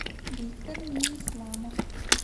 виктор минисламов